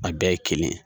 A bɛɛ ye kelen